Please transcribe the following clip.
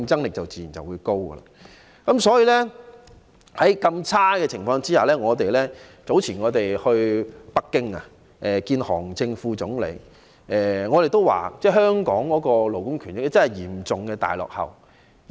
目前的情況是如此惡劣，因此當我們於較早前前往北京見韓正副總理時，也曾指出香港的勞工權益真的是嚴重大落後。